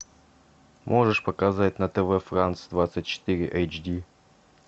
можешь показать на тв франс двадцать четыре эйч ди